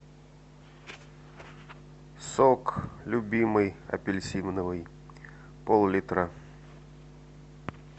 сок любимый апельсиновый пол литра